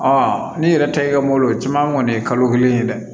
n'i yɛrɛ ta ye ka mobili caman kɔni ye kalo kelen ye dɛ